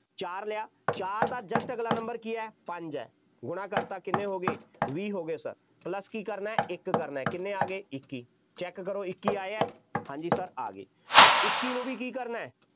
ਚਾਰ ਲਿਆ, ਚਾਰ ਦਾ just ਅਗਲਾ number ਕੀ ਹੈ, ਪੰਜ ਹੈ, ਗੁਣਾ ਕਰਤਾ, ਕਿੰਨੇ ਹੋ ਗਏ, ਵੀਹ ਹੋ ਗਏ sir plus ਕੀ ਕਰਨਾ, ਇੱਕ ਕਰਨਾ, ਕਿੰਨੇ ਆ ਗਏ, ਇੱਕੀ check ਕਰੋ ਇੱਕੀ ਆਏ ਆ, ਹਾਂ ਜੀ sir ਆ ਗਏ, ਹੁਣ ਇੱਕੀ ਨੂੰ ਵੀ ਕਰਨਾ,